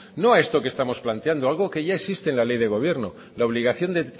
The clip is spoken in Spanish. no a esto que estamos planteando algo que ya existe en la ley de gobierno la obligación de